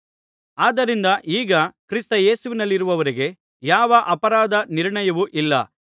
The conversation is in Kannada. ಆದ್ದರಿಂದ ಈಗ ಕ್ರಿಸ್ತ ಯೇಸುವಿನಲ್ಲಿರುವವರಿಗೆ ಯಾವ ಅಪರಾಧ ನಿರ್ಣಯವೂ ಇಲ್ಲ